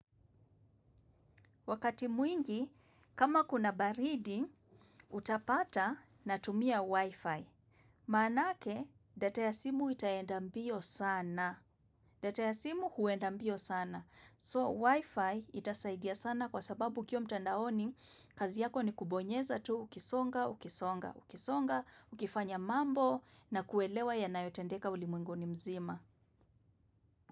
Wakati mwingi, kama kuna baridi, utapata natumia Wi-Fi. Maanake, data ya simu itaenda mbio sana. Data ya simu huenda mbio sana. So, Wi-Fi itasaidia sana kwa sababu ukiwa mtandaoni, kazi yako ni kubonyeza tu ukisonga, ukisonga, ukisonga, ukifanya mambo na kuelewa yanayotendeka ulimwenguni mzima.